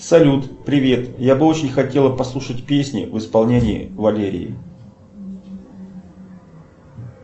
салют привет я бы очень хотела послушать песни в исполнении валерии